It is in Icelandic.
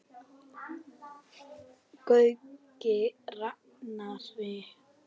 Gaui rakari.